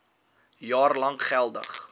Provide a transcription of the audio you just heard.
jaar lank geldig